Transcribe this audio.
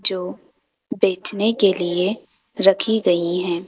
जो बेचने के लिए रखी गई हैं।